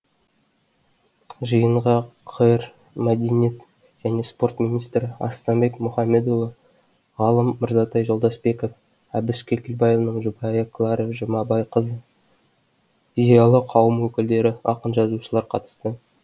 жиынға қр мәдениет және спорт министрі арыстанбек мұхамедиұлы ғалым мырзатай жолдасбеков әбіш кекілбайұылының жұбайы клара жұмабайқызы зиялы қауым өкілдері ақын жазушылар қатысты